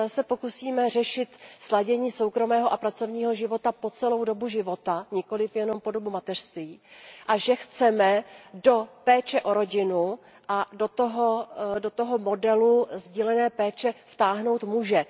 Pokusíme se totiž řešit sladění soukromého a pracovního života po celou dobu života, nikoliv jenom po dobu mateřství, a chceme do péče o rodinu a do toho modelu sdílené péče vtáhnout muže.